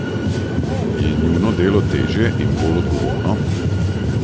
Je njuno delo težje in bolj odgovorno?